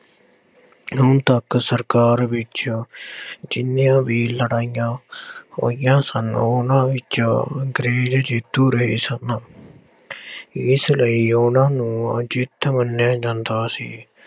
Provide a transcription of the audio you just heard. ਹੁਣ ਤੱਕ ਸਰਕਾਰ ਵਿੱਚ ਜਿੰਨੀਆਂ ਵੀ ਲੜਾਈਆਂ ਹੋਈਆਂ ਸਨ ਉਹਨਾਂ ਵਿੱਚ ਅੰਗਰੇਜ਼ ਜੇਤੂੂ ਰਹੇ ਸਨ ਇਸ ਲਈ ਉਹਨਾਂ ਨੂੰ ਅਜਿੱਤ ਮੰਨਿਆ ਜਾਂਦਾ ਸੀ।